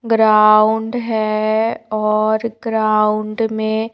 ground है और ground में--